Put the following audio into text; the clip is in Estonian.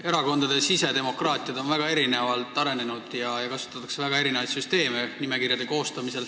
Erakondade sisedemokraatia on väga erinevalt arenenud ja nimekirjade koostamisel kasutatakse mitmesuguseid süsteeme.